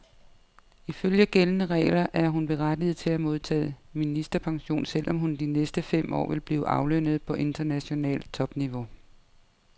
Ifølge gældende regler er hun berettiget til at modtage ministerpension, selv om hun de næste fem år vil blive aflønnet på internationalt topniveau.